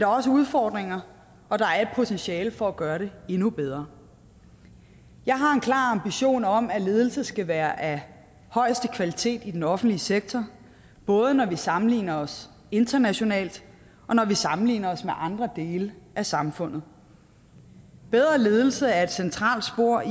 også udfordringer og der er et potentiale for at gøre det endnu bedre jeg har en klar ambition om at ledelse skal være af højeste kvalitet i den offentlige sektor både når vi sammenligner os internationalt og når vi sammenligner os med andre dele af samfundet bedre ledelse er et centralt spor